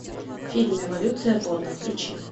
фильм эволюция борна включи